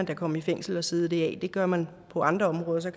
komme i fængsel og sidde det af det gør man på andre områder så